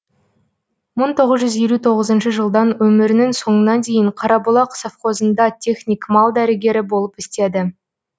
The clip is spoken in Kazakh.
мың тоғыз жүз елу тоғызыншы жылдан өмірінің соңына дейін қарабұлақ совхозында техник мал дәрігері болып істеді